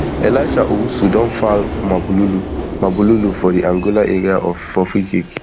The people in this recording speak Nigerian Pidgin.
elisha owusu don foul mabululu mabululu for di angola area for freekick